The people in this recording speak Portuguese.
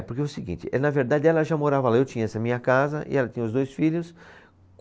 É, porque é o seguinte, eh, na verdade ela já morava lá, eu tinha essa minha casa e ela tinha os dois filhos.